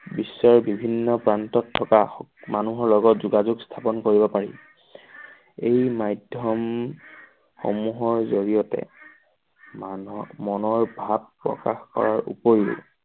বিশ্বৰ বিভিন্ন প্ৰান্তত থকা মানুহৰ লগত যোগাযোগ স্থাপন কৰিব পাৰি। এই মাধ্যম সমূহৰ জৰিয়তে মানুহৰ মনৰ ভাৱ প্ৰকাশ কৰাৰ উপৰিও